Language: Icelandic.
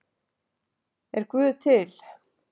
Er guð til